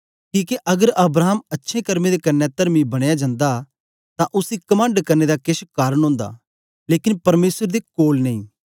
किके अगर अब्राहम अच्छे कर्मे दे क्न्ने तरमी बनया जंदा तां उसी कमंड करने दा केछ कारन ओंदा लेकन परमेसर दे कोल नेई